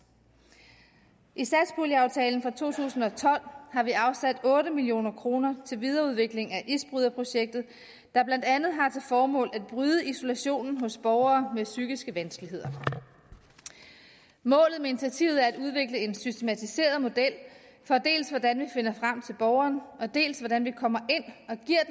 i satspuljeaftalen for to tusind og tolv har vi afsat otte million kroner til videreudvikling af isbryderprojektet der blandt andet har formål at bryde isolationen hos borgere med psykiske vanskeligheder målet med initiativet er at udvikle en systematiseret model for dels hvordan vi finder frem til borgeren dels hvordan vi kommer